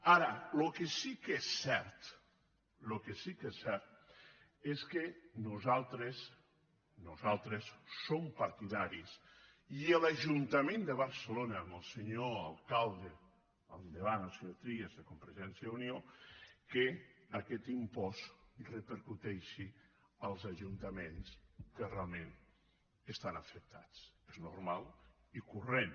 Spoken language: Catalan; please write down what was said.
ara el que sí que és cert és que nosaltres som partidaris i l’ajuntament de barcelona amb el senyor alcalde al davant el senyor trias de convergència i unió que aquest impost repercuteixi en els ajuntaments que real ment estan afectats és normal i corrent